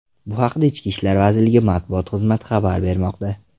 Bu haqda Ichki ishlar vazirligi matbuot xizmati xabar bermoqda .